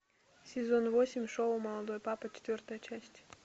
сезон восемь шоу молодой папа четвертая часть